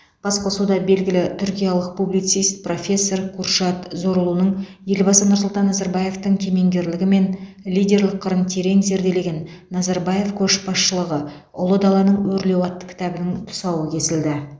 басқосуда белгілі түркиялық публицист профессор куршад зорлуның елбасы нұрсұлтан назарбаевтың кемеңгерлігі мен лидерлік қырын терең зерделеген назарбаев көшбасшылығы ұлы даланың өрлеуі атты кітабының тұсауы кесілді